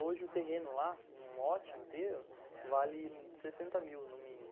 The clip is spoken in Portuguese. Hoje o terreno lá, num lote inteiro, vale sessenta mil no mínimo